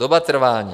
Doba trvání.